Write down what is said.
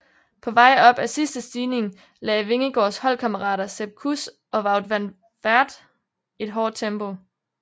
På vej op ad sidste stigning lagde Vingegaards holdkammerater Sepp Kuss og Wout van Aert et hårdt tempo